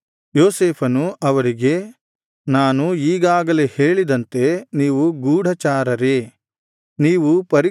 ಯೋಸೇಫನು ಅವರಿಗೆ ನಾನು ಈಗಾಗಲೇ ಹೇಳಿದಂತೆ ನೀವು ಗೂಢಚಾರರೇ